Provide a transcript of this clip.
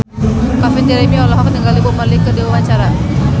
Calvin Jeremy olohok ningali Bob Marley keur diwawancara